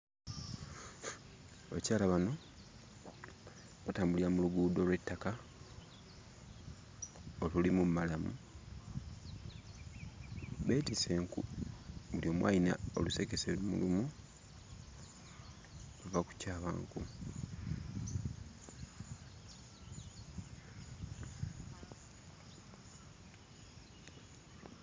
Abakyala bano batambulira mu luguudo lw'ettaka olulimu mmalamu. Beetisse enku, buli omu alina olusekese lumu, ava kutyaba nku.